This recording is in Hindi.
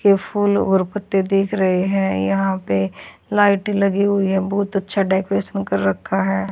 के फूल और पत्ते देख रहे हैं यहां पे लाइट लगी हुई है बहुत अच्छा डेकोरेट कर रखा है।